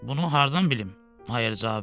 Bunu hardan bilim? Mayer cavab verdi.